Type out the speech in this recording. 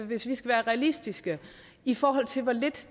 hvis vi skal være realistiske i forhold til hvor lidt